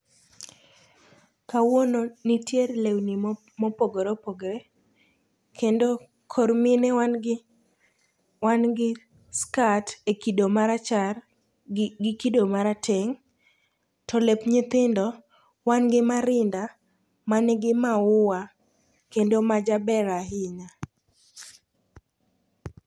Kawuono nitie lewni mopogore opogre kendo kor mine wangi skat e kido marachar gi kido marateng' to lep nyithindo wan gi marinda mangi maua kendo majaber ahinya.